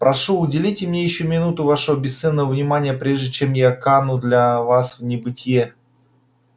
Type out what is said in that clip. прошу уделите мне ещё минуту вашего бесценного внимания прежде чем я кану для вас в небытие